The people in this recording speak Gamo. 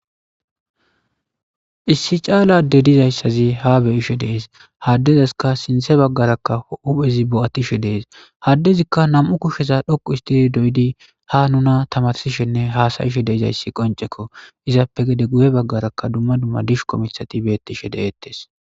Issi chala adde dizayssazi ha be'ishshen de'es ha addezas sinththe bagera huppeththi boatishshen de'es ha addezikka nam'u kushshe dhoqqu histidi doyidi nuna tamarisheninne hasayishshen de'ezayissa qonc'isizaysi izappe guyye bagarakka dumma dumma dishshiko miththathi betishshe de'etes.